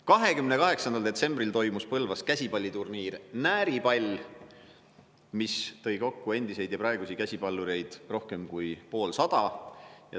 28. detsembril toimus Põlvas käsipalliturniir Nääripall, mis tõi kokku endisi ja praegusi käsipallureid rohkem kui poolsada.